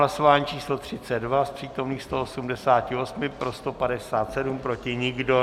Hlasování číslo 32, z přítomných 188, pro 157, proti nikdo.